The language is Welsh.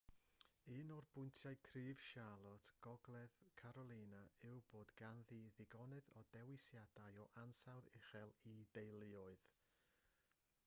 un o bwyntiau cryf charlotte gogledd carolina yw bod ganddi ddigonedd o ddewisiadau o ansawdd uchel i deuluoedd